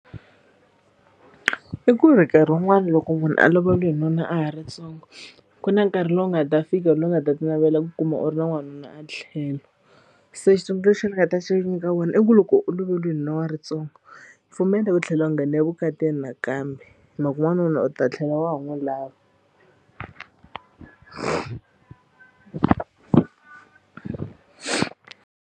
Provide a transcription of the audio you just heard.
I ku ri nkarhi wun'wani loko munhu a loveriwe hi nuna a ha ri ntsongo ku na nkarhi lowu nga ta fika lowu nga ta ti navela ku kuma u ri na n'wanuna a tlhelo se xitsundzuxo ni nga ta xi nyika vona i ku loko u lovoriwini nuna wa rintsongo pfumela ku tlhela u nghene evukatini nakambe hi mhaka ku n'wanuna u ta tlhela wa ha n'wi lava.